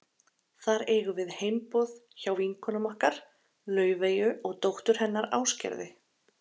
Þar eigum við heimboð hjá vinkonum okkar, Laufeyju og dóttur hennar Ásgerði.